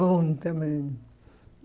Bom também.